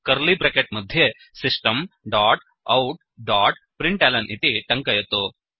curly bracket मध्ये system dot out dot println इति टङ्कयतु